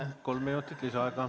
Palun, kolm minutit lisaaega!